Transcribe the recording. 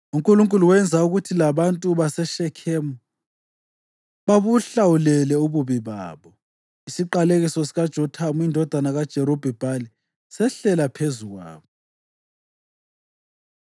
UNkulunkulu wenza ukuthi labantu baseShekhemu babuhlawulele ububi babo. Isiqalekiso sikaJothamu indodana kaJerubhi-Bhali sehlela phezu kwabo.